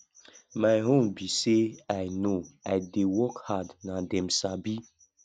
my own be say i no i dey work hard na dem sabi